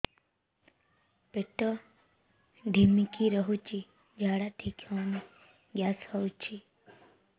ପେଟ ଢିମିକି ରହୁଛି ଝାଡା ଠିକ୍ ହଉନି ଗ୍ୟାସ ହଉଚି